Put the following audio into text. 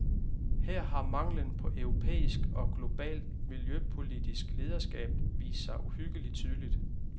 Her har manglen på europæisk og globalt miljøpolitisk lederskab vist sig uhyggelig tydeligt.